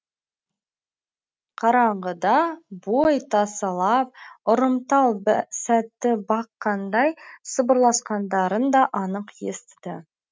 қараңғыда бой тасалап ұрымтал сәтті баққандай сыбырласқандарын да анық естіді